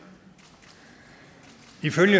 ifølge